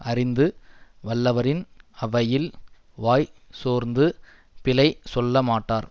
அறிந்து வல்லவறின் அவையில் வாய் சோர்ந்து பிழை சொல்லமாட்டார்